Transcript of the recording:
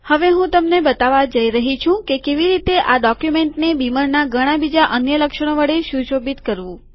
હવે હું તમને બતાવવા જઈ રહ્યો છું કે કેવી રીતે આ ડોક્યુમેન્ટને બીમરના ઘણા બીજા અન્ય લક્ષણો વડે સુશોભિત કરવું